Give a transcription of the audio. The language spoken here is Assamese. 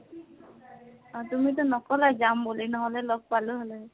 তুমিতো নকলা যাম বুলি, নহলে লগ পালো হয়।